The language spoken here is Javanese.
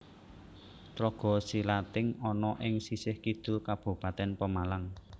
Tlaga Silating ana ing sisih kidul Kabupatèn Pemalang